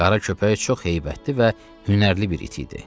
Qara köpək çox heybətli və hünərli bir it idi.